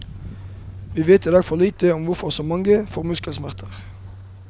Vi vet i dag for lite om hvorfor så mange får muskelsmerter.